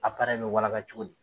bɛ walaka cogodi?